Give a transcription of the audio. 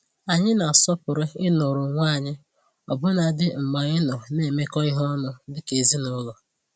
Anyị na-asọpụrụ i nọrọ onwe anyị ọbụnadị mgbe anyị nọ na-emekọ ihe ọnụ dika ezinụlọ.